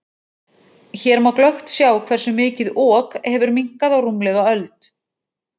Hér má glöggt sjá hversu mikið Ok hefur minnkað á rúmlega öld.